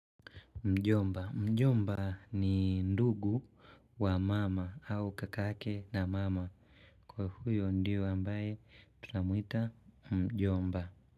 Mjomba. Mjomba ni ndugu wa mama au kakake na mama. Kwa huyo ndio ambaye tunamuita Mjomba.